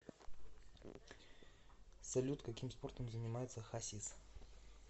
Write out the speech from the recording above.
салют каким спортом занимается хасис